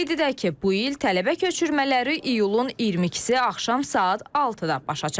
Qeyd edək ki, bu il tələbə köçürmələri iyulun 22-si axşam saat 6-da başa çatacaq.